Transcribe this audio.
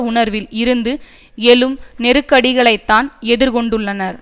உணர்வில் இருந்து எழும் நெருக்கடிகளைத்தான் எதிர்கொண்டுள்ளன